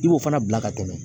I b'o fana bila ka tɛmɛ